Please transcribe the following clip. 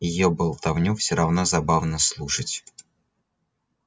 её болтовню всё равно забавно слушать